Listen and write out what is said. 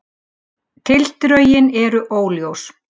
Tildrögin eru óljós